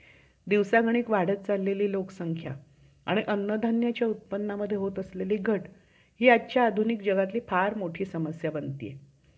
अह profit होतोय जास्त प्रमाणात मुनाफा होतोय